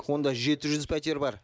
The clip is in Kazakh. онда жеті жүз пәтер бар